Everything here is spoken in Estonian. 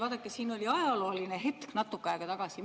Vaadake, siin oli ajalooline hetk natuke aega tagasi.